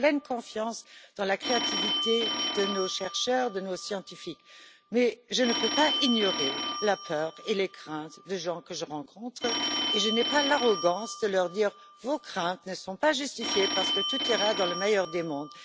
J'ai pleine confiance dans la créativité de nos chercheurs et de nos scientifiques. Mais je ne peux pas ignorer la peur et les craintes des personnes que je rencontre et je n'ai pas l'arrogance de leur dire que leurs craintes ne sont pas justifiées parce que tout ira pour le mieux dans le meilleur des mondes.